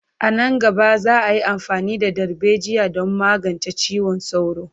A nan gaba, za a yi amfani da darbejiya don magance ciwon sauro.